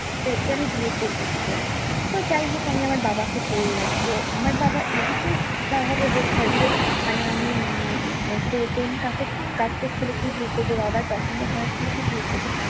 একে আমি বিয়ে করবো কি করে? তো যাইহোক আমি আমার বাবাকে বললাম, তো আমার বাবা এদিকে যা হবে হোক হয়তো মানে আমি হম কাস্টের ছেলেকেই বিয়ে করবো, বাবার পছন্দ করা ছেলেকেই বিয়ে করবো।